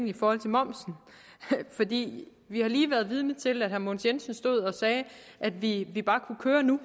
i forhold til momsen for vi har lige været vidne til at herre mogens jensen stod og sagde at vi vi bare kunne køre nu